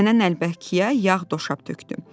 Nənə Nəlbəkiyə yağ doşab tökdü.